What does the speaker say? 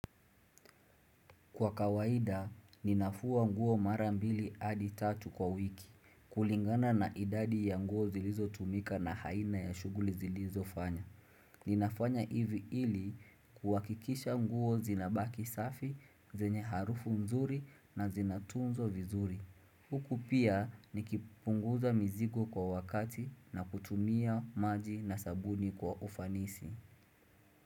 Kwa kawaida, ninafua nguo mara mbili hadi tatu kwa wiki. Kulingana na idadi ya nguo zilizotumika na aina ya shughuli zilizofanya. Ninafanya hivi ili kuhakikisha nguo zinabaki safi, zenye harufu mzuri na zinatunzwa vizuri. Huku pia nikipunguza mizigo kwa wakati na kutumia maji na sabuni kwa ufanisi.